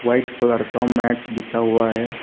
White colour का mat बिछा हुआ है।